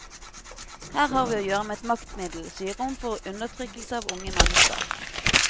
Her har vi å gjøre med et maktmiddel som gir rom for undertrykkelse av unge mennesker.